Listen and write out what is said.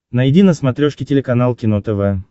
найди на смотрешке телеканал кино тв